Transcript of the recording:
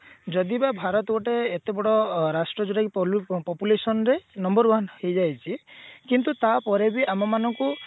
ଯଦି ବା ଭାରତ ଗୋଟେ ଏତେ ବଡ ରାଷ୍ଟ୍ର ଯୋଉଟା କି pollute population ରେ number one ହେଇଯାଇଛି କିନ୍ତୁ ତାପରେ ବି ଆମ ମାନଙ୍କୁ